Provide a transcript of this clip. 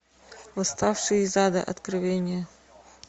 восставший из ада откровения